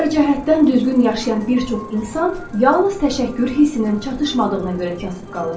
Hər cəhətdən düzgün yaşayan bir çox insan yalnız təşəkkür hissinin çatışmadığına görə kasıb qalır.